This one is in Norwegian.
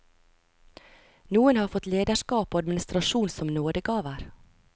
Noen har fått lederskap og administrasjon som nådegaver.